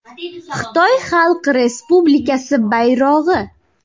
Xitoy Xalq Respublikasi bayrog‘i.